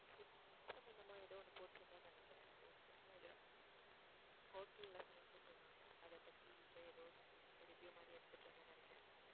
food சம்மந்தமா ஏதோ ஒண்ணு போட்டிருந்தேன்னு நினைக்கிறேன். ஒருத்தவங்க hotel ல சமைச்சிட்டிருந்தாங்க அதைப் பத்தி இப்ப ஏதோ something review மாதிரி எடுத்துட்டு இருந்தேன்னு நினைக்கிறேன்